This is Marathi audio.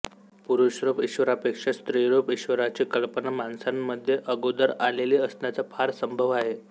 पुरुषरूप ईश्वरापेक्षा स्त्रीरूप ईश्वराची कल्पना माणसांमध्ये अगोदर आलेली असण्याचा फार संभव आहे